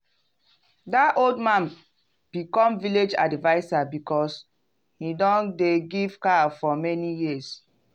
that old man become village adviser because he don dey give cow for many years.